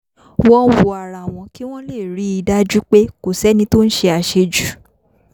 wọ́n ń wo ara wọn kí wọ́n lè rí i dájú pé kò sẹ́ni tó ń ṣe àṣejù